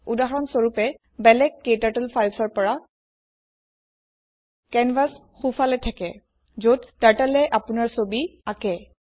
উদাহৰণ স্বৰূপে বেলেগ ক্টাৰ্টল filesৰ পৰা কেনভাছ সোঁফালে থাকে যত Turtleএ আপোনাৰ ছবি আকেঁ